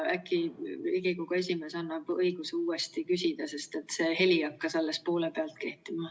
Äkki Riigikogu esimees annab õiguse uuesti küsida, sest see heli hakkas alles poole pealt kostma.